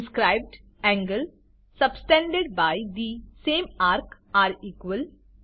inscribed angles subtended by the same ARC are equal